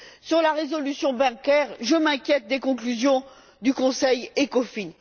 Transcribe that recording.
Sur la résolution bancaire, je m'inquiète des conclusions du Conseil ECOFIN.